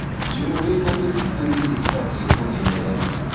njũũĩ na mĩtitũ nĩ cĩbatiĩ kũmenyererwo